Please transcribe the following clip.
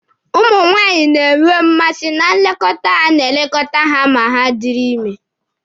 Ụmụ nwaanyị na-enwe mmasị na nlekọta a na-elekọta ha ma ha dịrị ime.